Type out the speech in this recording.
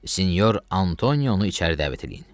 Sinior Antonionu içəri dəvət eləyin.